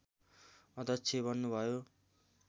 अध्यक्ष बन्नुभयो